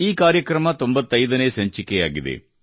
ಈ ಕಾರ್ಯಕ್ರಮವು 95 ನೇ ಸಂಚಿಕೆಯಾಗಿದೆ